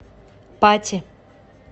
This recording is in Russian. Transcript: пати